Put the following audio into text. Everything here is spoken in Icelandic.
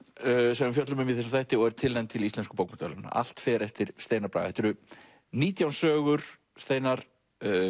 sem við fjöllum um í þessum þætti og er tilnefnd til Íslensku bókmenntaverðlaunanna allt fer eftir Steinar Braga þetta eru nítján sögur steinar